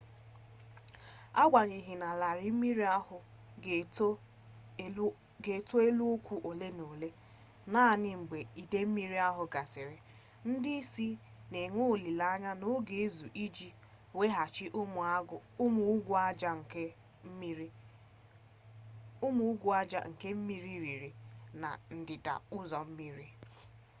agbanyeghi na larịị mmiri ahụ ga-eto elu ụkwụ ole na ole naanị mgbe idei mmiri ahụ gasịrị ndị isi na-enwe olile anya na ọ ga-ezu iji weghachi ụmụ ugwu aja nke mmiri riri na ndịda ụzọ mmiri